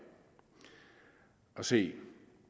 se